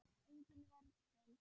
Engin vörn finnst.